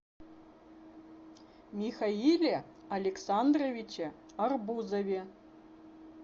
михаиле александровиче арбузове